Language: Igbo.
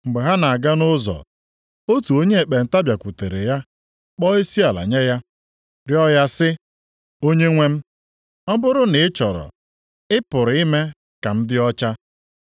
Mgbe ha na-aga nʼụzọ, otu onye ekpenta bịakwutere ya kpọọ isiala nye ya, rịọ ya sị, “Onyenwe m, ọ bụrụ na ị chọrọ, ị pụrụ ime ka m dị ọcha.”